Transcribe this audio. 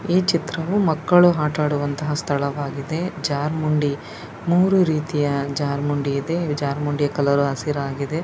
ಈ ಚಿತ್ರವು ಮಕ್ಕಳು ಆಟ ಆಡುವಂತಹ ಸ್ಥಳವಾಗಿದೆ ಜರ್ರ್ಮುಂಡಿ ಮೂರೂ ರೀತಿಯ ಜಾರ್ಮುಂಡಿ ಇದೆ ಈ ಜಾರ್ಮುಂಡಿಯ ಕಲರ್ ಹಸಿರಾಗಿದೆ.